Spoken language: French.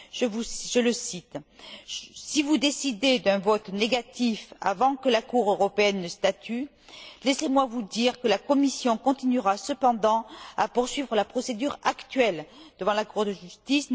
Je le cite Si vous décidez d'un vote négatif avant que la Cour européenne ne statue, laissez moi vous dire que la Commission continuera cependant à poursuivre la procédure actuelle devant la Cour de justice.